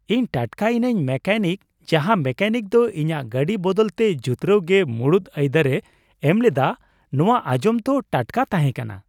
ᱤᱧ ᱴᱟᱴᱠᱟᱭᱤᱱᱟᱹᱧ ᱢᱮᱠᱟᱱᱤᱠ ᱡᱟᱦᱟᱭ ᱢᱮᱠᱟᱱᱤᱠ ᱫᱚ ᱤᱧᱟᱹᱜ ᱜᱟᱹᱰᱤ ᱵᱟᱫᱟᱞᱛᱮ ᱡᱩᱛᱨᱟᱹᱣ ᱜᱮ ᱢᱩᱲᱩᱫ ᱟᱹᱭᱫᱟᱨᱮ ᱮᱢᱞᱮᱫᱟ ᱾ ᱱᱚᱶᱟ ᱟᱸᱡᱚᱢ ᱫᱚ ᱴᱟᱴᱠᱟ ᱛᱟᱦᱮᱸ ᱠᱟᱱᱟ ᱾